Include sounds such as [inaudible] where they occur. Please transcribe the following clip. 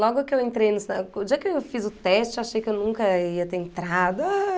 Logo que eu entrei no... [unintelligible] O dia que eu fiz o teste, eu achei que eu nunca ia ter entrado. Ah...